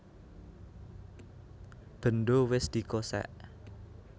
Bendho wis dikosèk